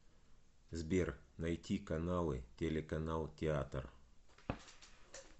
сбер найти каналы телеканал театр